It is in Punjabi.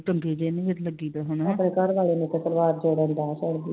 ਤਾਂ ਸੜ੍ਹਦੀ ਐ I